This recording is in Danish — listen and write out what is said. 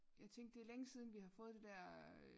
Jeg tænkte det er længe siden vi har fået det dér øh